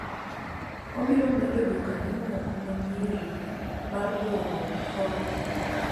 wabiro medo jokanyo mamoko ma nyiri mar riwruok koni